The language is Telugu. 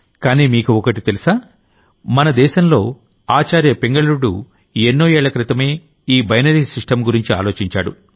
కానీ మీకోటి తెలుసా అసలు మన దేశంలో ఆచార్య పింగళుడు ఎన్నో ఏళ్ల క్రితమే ఈ బైనరీ సిస్టమ్ గురించి ఆలోచించాడు